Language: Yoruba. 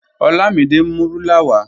Olamide n mú rúlà wà.